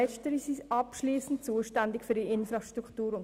Letztere sind abschliessend zuständig für ihre Infrastrukturen.